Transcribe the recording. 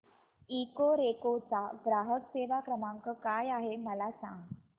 Ecoreco चा ग्राहक सेवा क्रमांक काय आहे मला सांग